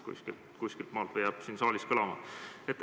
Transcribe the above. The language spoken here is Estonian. Kuidagi see jääb siin saalis kõlama.